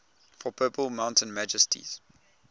for purple mountain majesties